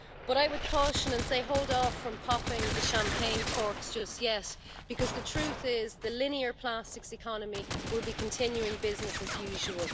But I would caution and say hold off from popping the champagne corks just yet, because the truth is that the linear plastics economy will be continuing business as usual.